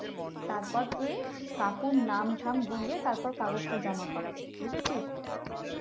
তারপর তুই কাকুর নাম থাম দিয়ে তারপর কাগজটা জমা করাবি বুঝেছিস।